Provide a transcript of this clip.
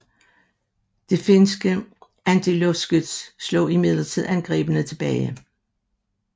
Det finske antiluftskyts slog imidlertid angrebene tilbage